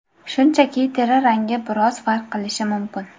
Shunchaki teri rangi biroz farq qilishi mumkin.